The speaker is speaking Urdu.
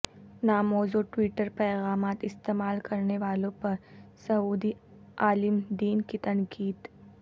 ناموزوں ٹوئیٹر پیغامات استعمال کرنے والوں پر سعودی عالم دین کی تنقید